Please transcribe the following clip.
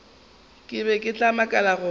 ke be ke makala gore